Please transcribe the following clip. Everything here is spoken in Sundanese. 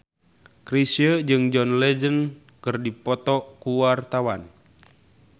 Chrisye jeung John Legend keur dipoto ku wartawan